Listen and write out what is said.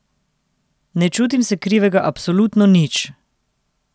Ne čutim se krivega absolutno nič.